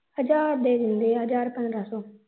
ਹਜ਼ਾਰ ਦੇ ਦਿੰਦੇ ਆ ਹਜ਼ਾਰ ਪੰਦਰ੍ਹਾਂ ਸੋ